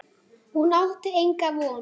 Hún átti enga von.